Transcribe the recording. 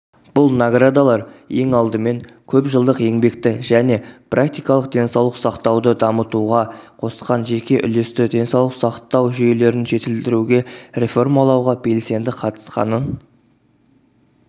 бұл наградалар ең алдымен көпжылдық еңбекті және практикалық денсаулық сақтауды дамытуға қосқан жеке үлесті денсаулық сақтау жүйелерін жетілдіруге реформалауға белсенді қатысқанын